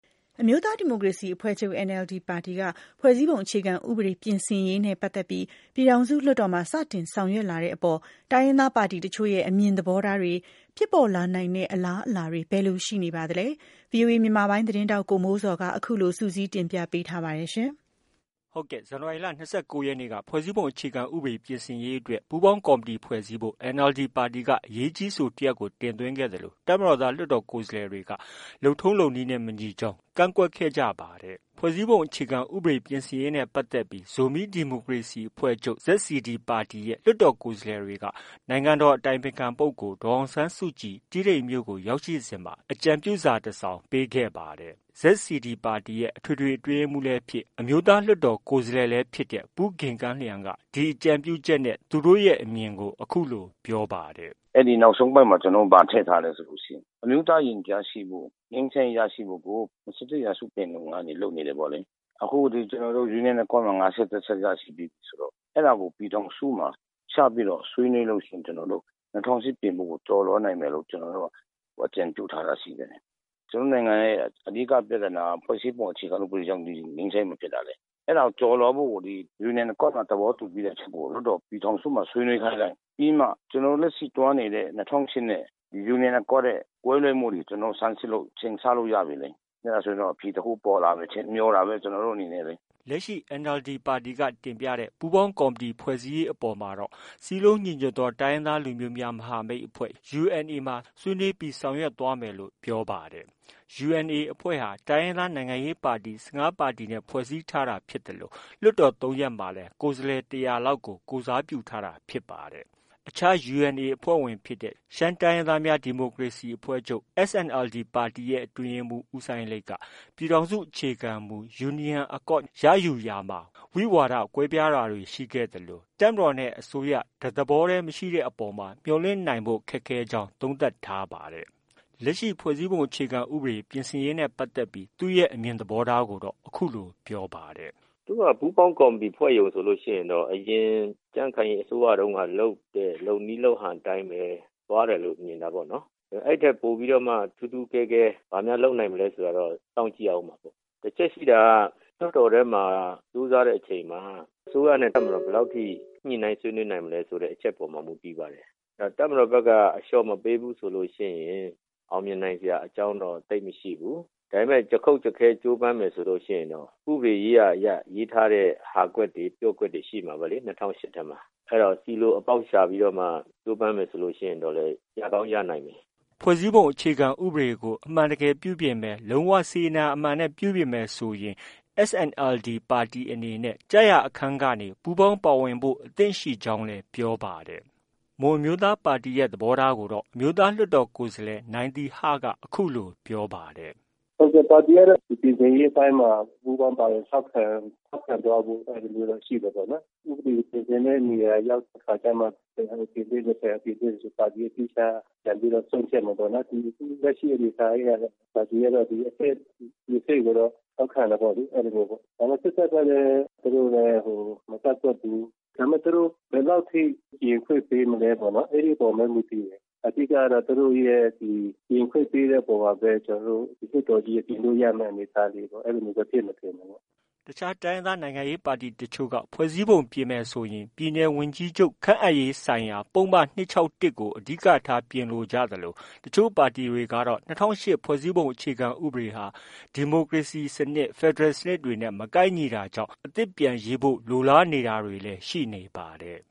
အမျိုးသားဒီမိုကရေစီအဖွဲ့ချုပ်NLD ပါတီက ဖွဲ့စည်းပုံအခြေခံ ဥပဒေပြင်ဆင်ရေးနဲ့ ပတ်သက်ပြီး ပြည်ထောင်စု လွှတ်တော်မှာ စတင်ဆောင်ရွက်လာတဲ့အပေါ် တိုင်းရင်းသား ပါတီတချို့ ရဲ့ အမြင်သဘောထားတွေ၊ ဖြစ်ပေါ်လာနိုင်တဲ့ အလားအလာတွေ ဘယ်လိုရှိနေပါသလဲ။ ဗွီအိုအေမြန်မာပိုင်းရဲ့ သတင်းထောက် ကိုမိုးဇော်က အခုလို စုစည်းတင်ပြထားပါတယ်။ ဇန်နဝါရီလ ၂၉ ရက်နေ့က ဖွဲ့စည်းပုံအခြေခံဥပဒေပြင်ဆင်ရေးအတွက် ပူးပေါင်းကော်မတီ ဖွဲ့စည်းဖို့ NLD ပါတီက အရေးကြီး အဆိုတစ်ရပ်ကို တင်သွင်းခဲ့သလို တပ်မတော်သားလွှတ်တော်ကိုယ်စားလှယ်တွေက လုပ်ထုံးလုပ်နည်းနဲ့ မညီကြောင်း ကန့်ကွက်ခဲ့ကြတာဖြစ်ပါတယ်။ ဖွဲ့စည်းပုံအခြေခံဥပဒေပြင်ဆင်ရေးနဲ့ပတ်သက်ပြီး ဇိုမီးဒီမိုကရေစီအဖွဲ့ချုပ် ZCD ပါတီရဲ့ လွှတ်တော်ကိုယ်စားလှယ်တွေက နိုင်ငံတော်အတိုင်ပင်ခံပုဂ္ဂိုလ် ဒေါ်အောင်ဆန်းစုကြည် တီးတိန်မြို့ကို ရောက်ရှိစဉ်မှာအကြံပြုစာတစ်စောင်ပေးခဲ့ပါတယ်။ ZCD ပါတီရဲ့ အထွေထွေအတွင်းရေးမှုးလည်းဖြစ် အမျိုးသားလွှတ်တော်ကိုယ်စားလှယ်လည်းဖြစ်တဲ့ပူးဂင်ကမ်းလျန်က ဒီအကြံပြုချက်နဲ့သူ့တို့ရဲ့ အမြင်ကို အခုလို ပြောပါတယ်။ “အဲဒီနောက်ဆုံးပိုဒ်မှာ ကျနော်တို့ ဘာထည့်ထားလဲ ဆိုရင် အမျိုးသားရင်ကြားစေ့ဖို့၊ ငြိမ်းချမ်းရေးရရှိဖု့ိကို ၂၁ ရာစုပင်လုံကနေ လုပ်နေတယ်ပေါ့လေ။ အခု Union Accord မှာ ၅၁ ချက်ရရှိပြီးပြီဆိုတော့ အဲဒါကို ပြည်ထောင်စုမှာ ချပြီးတော့ ဆွေးနွေးလို့ရှိရင် ကျနော်တို့ ၂၀၀၈ ပြင်ဖို့ကို ကျော်လွှားနိုင်မယ်လို့ ကျနော်တို့ အကြံပြုထားတာရှိတယ်။ ကျနော်တို့ နိုင်ငံရဲ့ အဓိက ပြဿနာက ဖွဲ့စည်းပုံအခြေခံဥပဒေကြောင့် ငြိမ်းချမ်းရေးမရတာလေ။ အဲဒါကို ကျော်လွှားဖို့ကို Union Accord မှာ သဘောတူပြီးတဲ့အချက်ကို လွှတ်တေ်ာပြည်ထောင်စုမှာ ဆွေးနွေးခိုင်းလိုက်။ ပြီးမှ ကျနော်တို့ လက်ရှိသွားနေတဲ့ ၂၀၀၈ နဲ့ Union Accord နဲ့ ကွဲလွဲမှုတွေကို ဆန်းစစ်လို့ ချိန်ဆလို့ ရပြီလေ။ အဲဒါဆို အဖြေတစ်ခု ပေါ်လာမယ် ထင်တာပဲ မျှော်တာပဲ ကျနော်တို့ အနေနဲ့လေ။ ” လက်ရှိ NLD ပါတီက တင်ပြတဲ့ ပူးပေါင်းကော်မတီဖွဲ့စည်းရေးအပေါ်မှာတော့ စည်းလုံးညီညွတ်သောတိုင်းရင်းသားလူမျိုးများ မဟာမိတ်အဖွဲ့ UNA မှာ ဆွေးနွေးပြီး ဆောင်ရွက်သွားမယ်လို့ ပြောပါတယ်။ UNA အဖွဲ့ဟာ တိုင်းရင်းသားနိုင်ငံရေးပါတီ ၁၅ ပါတီနဲ့ ဖွဲ့စည်းထားတာဖြစ်သလို လွှတ်တော် ၃ ရပ်မှာလည်း ကိုယ်စားလှယ် ၁၀၀ လောက်ကို ကိုယ်စားပြုထားတာဖြစ်ပါတယ်။ အခြား UNA အဖွဲ့ဝင်ဖြစ်တဲ့ ရှမ်းတိုင်းရင်းသားများ ဒီမိုကရေစီအဖွဲ့ချုပ် SNLD ပါတီရဲ့ အတွင်းရေးမှုး ဦးစိုင်းလိတ်က ပြည်ထောင်စုအခြေခံမူ Union Accord ရယူရာမှာ ဝိဝါဒကွဲပြားတာတွေ ရှိခဲ့သလို တပ်မတော်နဲ့ အစိုးရ တသဘောတည်း မရှိတဲ့အပေါ်မှာ မျှော်လင့်ဖို့ ခက်ခဲနိုင်ကြောင်း သုံးသပ်ထားပါတယ်။ လက်ရှိဖွဲ့စည်းပုံအခြေခံဥပဒေပြင်ဆင်ရေးနဲ့ပတ်သက်ပြီး သူ့ရဲ့ အမြင်သဘောထားကိုတော့ အခုလို ပြောပါတယ်။ “သူတို့ဟာ ပူးပေါင်းကော်မတီ ဖွဲ့ရုံဆိုရင်တော့ အရင် ကြံခိုင်ရေးအစိုးရတုံးက လုပ်တဲ့ လုပ်နည်းလုပ်ဟန် အတိုင်း သွားတယ်လို့ မြင်တာပေါ့နော်။ အဲဒီထက် ပိုပြီးတော့မှ ထူးထူးကဲကဲ ဘာများ လုပ်နိုင်မလဲ ဆိုတာတော့ စောင့်ကြည့်ရမှာပေါ့။ တစ်ချက်ရှိတာက လွှတ်တော်ထဲမှာ ကြိုးစားတဲ့အချိန်မှာ အစိုးရနဲ့ တပ်မတော် ဘယ်လောက်ထိ ညှိနှိုင်းဆွေးနွေးနိုင်မလဲဆိုတဲ့ အချက်အပေါ်မှာ မူတည်ပါတယ်။ တပ်မတော်ဘက်က အလျော့မပေးဘူးဆိုရင် အောင်မြင်နိုင်စရာအကြောင်းတော့ သိပ်မရှိဘူး။ ဒါပေမဲ့ ကျားကုတ် ကျားခဲ ကြိုးပမ်းမယ်ဆိုရင်တော့ ဥပဒေရေးရာအရ ရေးထားတဲ့ ဟာကွက်တွေ ပျော့ကွက်တွေ ရှိမှာပဲလေ ၂၀၀၈ ထဲမှာ၊ အဲဒါကို ဆီလို အပေါက်ရှာပြီးတော့မှ ကြိုးပမ်းမယ်ဆိုရင်တော့လည်း ရကောင်း ရနိုင်မယ်။ ” ဖွဲ့စည်းပုံအခြေခံဥပဒေကို အမှန်တကယ် ပြုပြင်မယ်၊ လုံး၀ စေတနာအမှန်နဲ့ ပြုပြင်မယ်ဆို SNLD ပါတီအနေနဲ့ ကျရာအခန်းကနေပူးပေါင်းပါဝင်ဖို့ အသင့်ရှိကြောင်းလည်း ပြောပါတယ်။ မွန်အမျိုးသားပါတီရဲ့ အမြင်သဘောထားကိုတော့ အမျိုးသားလွှတ်တော်ကိုယ်စားလှယ် နိုင်သီဟက အခုလို ပြောပါတယ်။ “ပါတီကတော့ ပြင်ဆင်ရေးအပိုင်းမှာ ပူးပေါင်းပါဝင် ထောက်ခံသွားဖို့ အဲလိုမျိုးတော့ ရှိတယ်ပေါ့နော်။ ဥပဒေကို ပြင်ဆင်တဲ့နေရာရောက်တဲ့အခါကျမှ ဘယ်ဟာကို တင်သွင်းမယ်ဆို ပါတီက သီးခြား ပြန်ပြီးတော့ ဆုံးဖြတ်မယ်ပေါ့နော်။ လက်ရှိအနေအထားအရတော့ ပါတီကတော့ ဒီအဆင့်ကိုတော့ ထောက်ခံတယ်ပေါ့လေ။ ဒါပေမဲ့ စစ်တပ်ကလည်း သူတို့ မကန့်ကွက်ဘူး။ဒါပေမဲ့ သူတို့ ဘယ်လောက်ထိပြင်ခွင့်ပေးမလဲ။ အဲဒီအပေါ်မှာပဲ မူတည်တယ်။ အဓိကကတော့ သူတို့ရဲ့ ပြင်ခွင့်ပေးတဲ့အပေါ်မှာပဲ လွှတ်တော်ကြီးက ပြင်လို့ ရမယ့်အနေအထားတွေ အဲလိုပဲ သွားဖြစ်မယ်ထင်တယ်ပေါ့။” တခြား တိုင်းရင်းသားနိုင်ငံရေးပါတီတစ်ချို့ကတော့ ဖွဲ့စည်းပုံပြင်မယ်ဆိုရင် ပြည်နယ်ဝန်ကြီးချုပ်ခန့်အပ်ရေး ဆိုင်ရာ ပုဒ်မ ၂၆၁ ကို အဓိကထား ပြင်ဆင်လိုကြသလို တချို့ပါတီတွေကတော့ ၂၀၀၈ ဖွဲ့စည်းပုံအခြေခံဥပဒေဟာ ဒီမိုကရေစီစနစ်၊ ဖက်ဒရယ်စနစ်နဲ့ မကိုက်ညီတာကြောင့် အသစ်ပြန်ရေးဖို့ လိုလားနေတာတွေလည်း ရှိနေပါတယ်